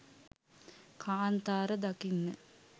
කාන්තාර දකින්න